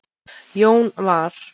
Jón var